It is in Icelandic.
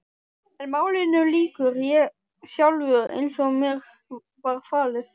En málinu lýk ég sjálfur, eins og mér var falið.